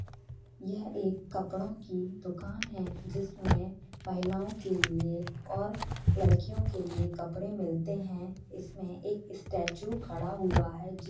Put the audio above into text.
यह एक कपड़ों की दुकान है जिसमें महिलाओं के लिए और लड़कियों के लिए कपड़े मिलते हैं इसमें एक स्टैचू खड़ा हुआ है जिस--